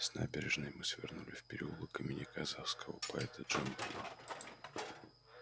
с набережной мы свернули в переулок имени казахского поэта джамбула